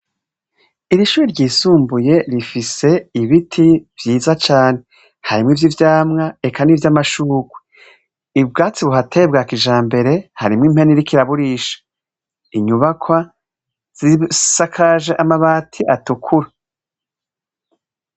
Iri shure ryisumbuye rifise ibiti vyiza cane. Harimwo ivy'ivyamwa eka n'ivy'amashurwe. Ubwatsi buhateye bwa kijambere, harimwo impene iriko iraburisha. Inyubakwa zisakaje amabati atukura.